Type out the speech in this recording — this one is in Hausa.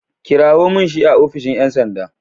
Kirawo min shi a ofishin ƴan sanda.